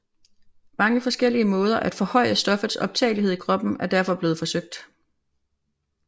Mange forskellige måder at forhøje stoffets optagelighed i kroppen er derfor blevet forsøgt